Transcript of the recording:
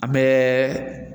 An mɛɛɛ